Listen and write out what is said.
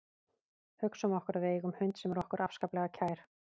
Hugsum okkur að við eigum hund sem er okkur afskaplega kær.